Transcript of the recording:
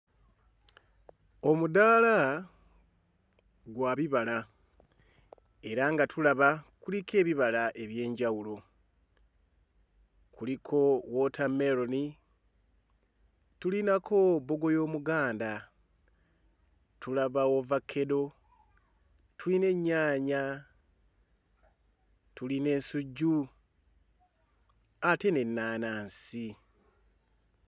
Omudaala gwa bibala era nga tulaba kuliko ebibala eby'enjawulo. Kuliko wootameroni, tulinako bbogoya omuganda, tulaba ovakkedo, tulina ennyaanya, tulina ensujju ate n'ennaanansi.